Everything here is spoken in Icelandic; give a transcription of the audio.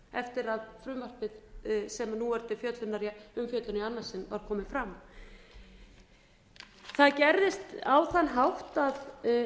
eftir að frumvarpið sem nú er til umfjöllunar í annað sinn var komið fram það gerðist á þann hátt að